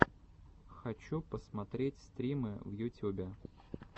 хочу посмотреть стримы в ютюбе